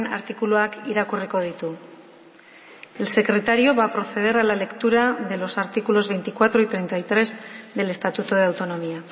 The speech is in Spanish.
artikuluak irakurriko ditu el secretario va a proceder a la lectura de los artículos veinticuatro y treinta y tres del estatuto de autonomía